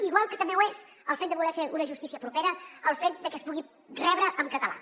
igual que també ho és el fet de voler fer una justícia propera el fet de que es pugui rebre en català